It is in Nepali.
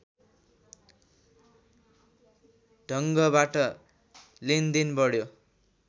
ढङ्गबाट लेनदेन बढ्यो